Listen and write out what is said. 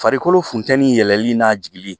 Farikolo funtɛni yɛlɛli n'a jigili